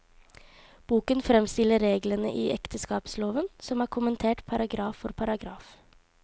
Boken fremstiller reglene i ekteskapsloven, som er kommentert paragraf for paragraf.